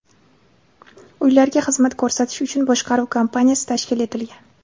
Uylarga xizmat ko‘rsatish uchun boshqaruv kompaniyasi tashkil etilgan.